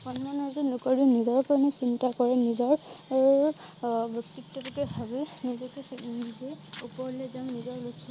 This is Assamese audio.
সন্মান অৰ্জন নকৰি নিজৰ কাৰণে চিন্তা কৰে নিজৰ আহ আহ ব্যক্তিত্বটোকে ভাৱি নিজকে আহ ওপৰলৈ যাওঁ নিজৰ